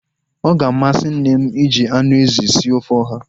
Ọ ga-amasị nne m iji anụ ezi sie ofe ọha